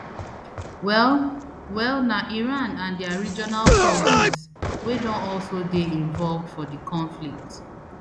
well well na iran and dia regional proxies wey don also dey involved for di conflict